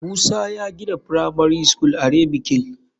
Musa ya gina firamari school are mikil.